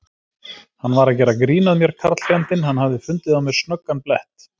Hann var að gera grín að mér karlfjandinn, hann hafði fundið á mér snöggan blett.